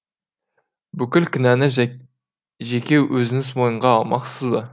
бүкіл кінәні жеке өзіңіз мойынға алмақсыз ба